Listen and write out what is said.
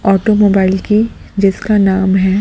Automobile की जिसका नाम है।